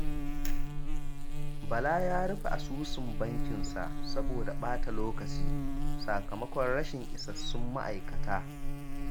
Bala ya rufe asusun bankinsa saboda ɓata lokaci, sakamakon rashin isassun ma'aikata